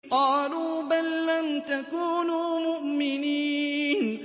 قَالُوا بَل لَّمْ تَكُونُوا مُؤْمِنِينَ